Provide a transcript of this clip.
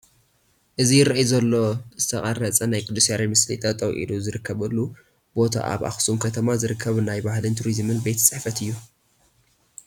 እዚ ይርአ ዘሎ ዥተቐረፀ ናይ ቅዱስ ያሬድ ምስሊ ጠጠው ኢሉ ዝርከበሉ ቦታ ኣብ ኣኽሱም ከተማ ዝርከብ ናይ ባህልን ቱሪዝምን ቤት ፅሕፈት እዩ፡፡